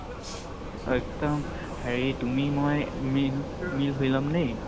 এ একদম তুমি হেৰি তুমি মই মিল মিল হৈ লম দেই